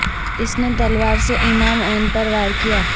اس نے تلوار سے امام ع پر وار کیا